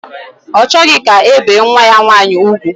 Ọ chọghị ka e bee nwa ya nwaanyị ugwu